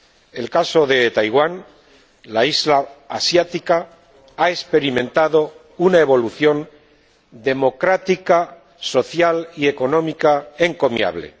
En el caso de Taiwán, la isla asiática ha experimentado una evolución democrática, social y económica encomiable.